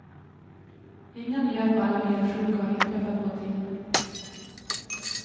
Inga nya fall av elsjuka har inträffat på en tid.